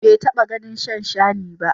Bai taɓa ganin shanshani ba.